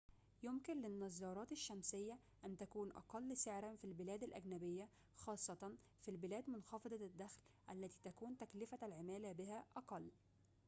يمكن للنظارات الشمسية أن تكون أقل سعراً في البلاد الأجنبية خاصة في البلاد منخفضة الدخل التي تكون تكلفة العمالة بها أقل